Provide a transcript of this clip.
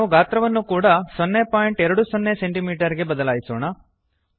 ನಾವು ಗಾತ್ರವನ್ನು ಕೂಡ 020ಸಿಎಂ ಗೆ ಬದಲಾಯಿಸೋಣ